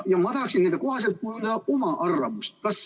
Ma tahaksin nende kohaselt kujundada oma arvamust.